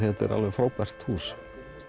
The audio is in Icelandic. frábært hús